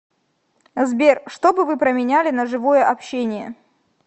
сбер что бы вы променяли на живое общение